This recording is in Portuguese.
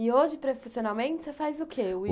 E hoje profissionalmente você faz o quê?